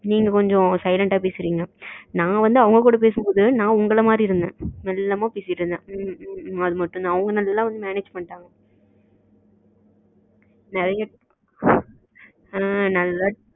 நீங்க கொஞ்சம் silent அஹ பேசுறிங்க நா வந்து அவங்க கூட பேசும் போது நா உங்கள மாரி இருந்தேன் மெல்லாம பேசிட்டு இருந்தேன். ம் ம் ம் அது மட்டும் தான் அவங்க நல்லா manage பண்ணிகிட்டாங்க manage பரவ இல்ல ஆ நல்லா